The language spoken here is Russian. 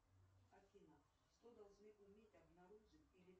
афина что должны уметь обнаружить или